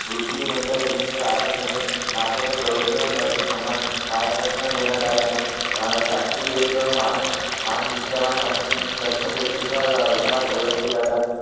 मृत्यूनंतर एकोणीशे सहासष्ट मध्ये भारताच्या सर्वोच्च नगरी समान भारतरत्न देण्यात आले आणि अह शास्त्री एक महान महान निष्ठावान आणि सत्यम व्यक्तीच्या रूपात ओळखले जातात